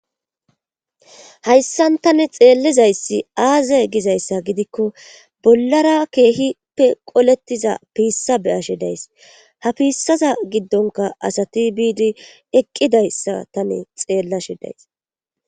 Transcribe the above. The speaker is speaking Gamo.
hayssan tani xeellizayssi aaze gizayssa gidikko bollara keehippe qolettiza piissa be7ashe days ha piissaza giddonka asati biidi eqqidayssa tani xeellashe days.